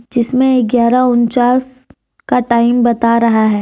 जिसमें ग्यारह उन्चास का टाइम बता रहा है।